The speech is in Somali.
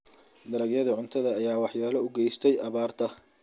Dalagyadii cuntada ayaa waxyeello u geystay abaarta.